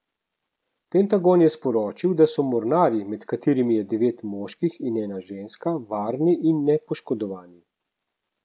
Pentagon je sporočil, da so mornarji, med katerimi je devet moških in ena ženska, varni in nepoškodovani.